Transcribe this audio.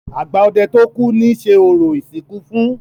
Àgbà ọdẹ tó kú ni ṣe orò ìsìnkú fún.